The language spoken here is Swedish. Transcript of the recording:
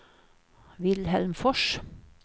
Vilhelm Fors